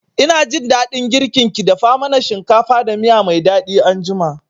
Ina jin daɗin girkin ki, dafa mana shinkafa da miya mai daɗi anjima